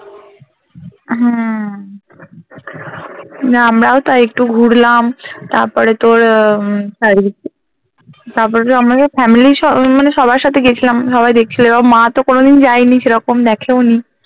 হ্যাঁ না আমরাও তাই একটু ঘুরলাম তারপরে তোর উম তারপরে তো আমরা family সহো মানে সবার সাথে গেছিলাম সবাই দেখছিলো মা তো কোনোদিন যায়নি সেরকম দেখেও নি